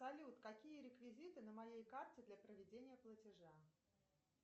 салют какие реквизиты на моей карте для проведения платежа